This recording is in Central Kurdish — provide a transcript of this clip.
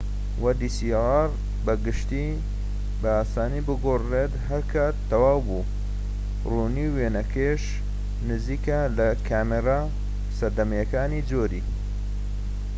بە گشتی بە ئاسانی بگۆڕدرێت هەرکات تەواو بوو ڕوونی وێنەکەش نزیکە لە کامێرە سەردەمیەکانی جۆری dslr ەوە